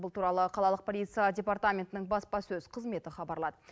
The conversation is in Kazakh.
бұл туралы қалалық полиция департаментінің баспасөз қызметі хабарлады